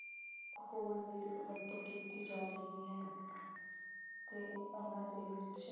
ਹੋਰ ਵੀ ਵਰਤੋਂ ਕੀਤੀ ਜਾ ਰਹੀ ਹੈ ਅਤੇ ਉਹਨਾ ਦੇ ਵਿੱਚ